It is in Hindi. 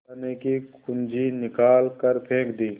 खजाने की कुन्जी निकाल कर फेंक दी